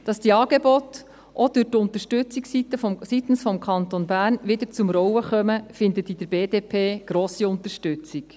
Dass die Angebote auch durch die Unterstützung seitens des Kantons Bern wieder zum Rollen kommen, findet bei der BDP grosse Unterstützung.